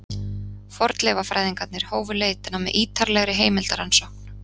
fornleifafræðingarnir hófu leitina með ýtarlegri heimildarannsókn